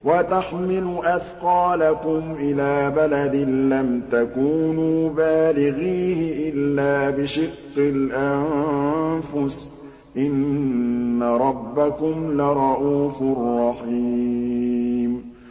وَتَحْمِلُ أَثْقَالَكُمْ إِلَىٰ بَلَدٍ لَّمْ تَكُونُوا بَالِغِيهِ إِلَّا بِشِقِّ الْأَنفُسِ ۚ إِنَّ رَبَّكُمْ لَرَءُوفٌ رَّحِيمٌ